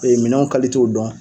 minɛnw dɔn.